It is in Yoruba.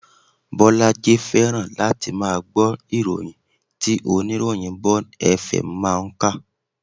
Bolaji fẹ́ràn láti máa gbọ́ ìròyìn tí oníròyìn Bond FM máa ń kà